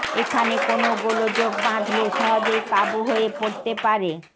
এখানে কোনও গোলযোগ বাঁধলে সহজেই কাবু হয়ে পড়তে পারে